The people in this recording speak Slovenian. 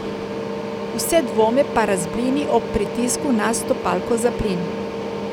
Vse dvome pa razblini ob pritisku na stopalko za plin.